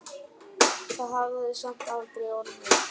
Það hafði samt aldrei orðið.